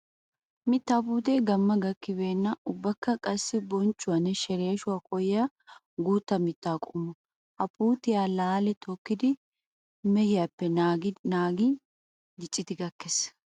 Mittaa puutee gamma gakkibenna ubbakka qassi bonccuwanne sheleeshshuwa koyyiya guuta mitta qommo. Ha puutiya laali tokkiddi mehiyappe naagin dicciiddi gakees.